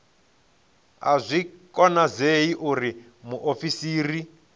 a zwi konadzei uri muofisiri